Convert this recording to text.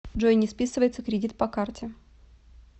джой не списывается кредит по карте